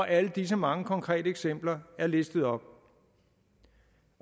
alle disse mange konkrete eksempler er listet op